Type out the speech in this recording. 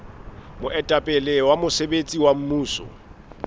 moetapele wa mosebetsi wa mmuso